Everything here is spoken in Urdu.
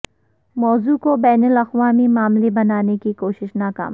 موضوع کو بین الاقوامی معاملہ بنانے کی کوششیں ناکام